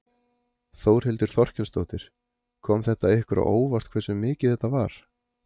Þórhildur Þorkelsdóttir: Kom þetta ykkur á óvart hversu mikið þetta var?